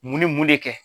Mun ni mun de kɛ